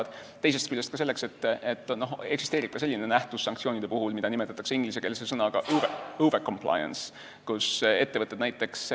Teisest küljest on seadust vaja selleks, et sanktsioonide puhul eksisteerib selline nähtus, mida nimetatakse ingliskeelse sõnaga overcompliance.